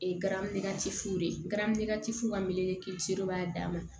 garacɛ fu de ye fu ka mɛle b'a dama